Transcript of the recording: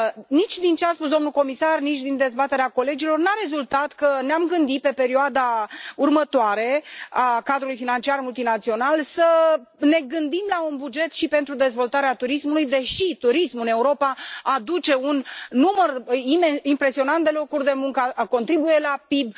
Nici din ce a spus domnul comisar, nici din dezbaterea colegilor, nu a rezultat că ne am gândi pentru perioada următoare a cadrului financiar multinațional la un buget și pentru dezvoltarea turismului, deși turismul în Europa aduce un număr impresionant de locuri de muncă, contribuie la PIB.